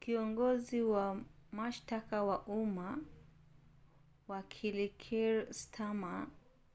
kiongozi wa mashtaka ya umma wakili kier starmer